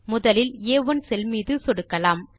முதலில் ஆ1 செல் மீது சொடுக்கலாம்